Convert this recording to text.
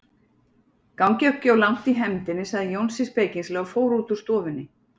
Gangið ekki of langt í hefndinni, sagði Jónsi spekingslega og fór út úr stofunni.